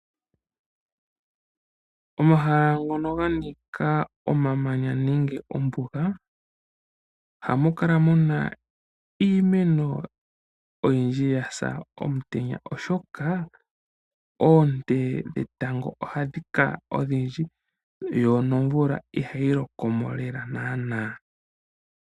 Omahala ngono ganika omamanya nenge ombuga, ohamu kala muna iimeno oyindji yasa omutenya, oshoka oonte dhetango ohadhi kala odhindji, yo nomvula ihayi lokomo naanaa.